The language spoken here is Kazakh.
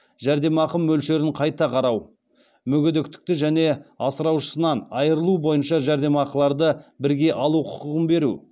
жәрдемақы мөлшерін қайта қарау мүгедектікті және асыраушысынан айырылу бойынша жәрдемақыларды бірге алу құқығын беру